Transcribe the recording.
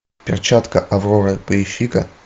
перчатка авроры поищи ка